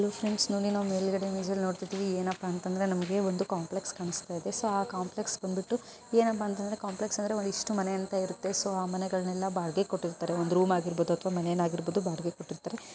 Hi friends ನೋಡಿ ನಾವು ಮೇಲ್ಗಡ್ ಇಮೇಜ್ ಅಲ್ಲಿ ನೋಡ್ತಾ ಇದ್ದೇವೆ ಏನಪ್ಪಾ ಅಂದ್ರೆ ನಮಗೆ ಒಂದು ಕಾಂಪ್ಲೆಕ್ಸ್ ಕಾಣಸ್ತಾಇದೆ ಆ ಕಾಂಪ್ಲೆಕ್ಸ್ ಬಂದ್ಬಿಟ್ಟು ಏನಪ್ಪಾ ಅಂದ್ರೆ ಕಾಂಪ್ಲೆಕ್ಸ್ ಅಂದ್ರೆ ಒಂದಿಷ್ಟು ಮನೆ ಅಂತ ಇರುತ್ತೆ ಆ ಮನೆಗಳನ್ನೆಲ್ಲ ಬಾಡಿಗೆ ಕೊಟ್ಟಿರುತ್ತಾರೆ ಒಂದು ರೂಮ್ ಆಗಿರ್ಬಹುದು ಅಥವಾ ಒಂದು ರೂಮ್ ಆಗಿರ್ಬಹುದು ಬಾಡಿಗೆ ಕೊಟ್ಟಿರುತ್ತಾರೆ.